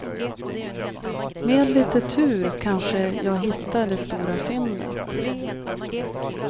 Med lite tur kanske jag hittar det stora fyndet.